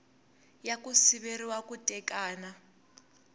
ya ku siveriwa ku tekana